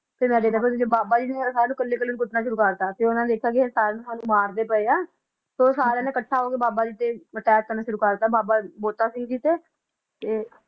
ਫਿਰ ਬਾਬਾ ਜੀ ਨੇ ਸਾਰਿਆ ਨੂੰ ਫੜ ਕੇ ਕੁਟਣਾ ਸੁਰੂ ਕਰ ਦਿੱਤਾ ਉਨਾ ਵੇਖਿਆ ਸਾਨੂੰ ਮਾਰਦੇ ਪਏ ਆ ਫਿਰ ਉਨਾ ਇਕੱਠੀ ਨੇ ਬਾਬਾ ਬੰਤਾ ਜੀ ਤੇ ਅਟੈਕ ਕੀਤਾ